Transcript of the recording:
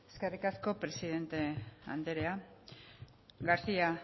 eskerrik asko presidente anderea garcía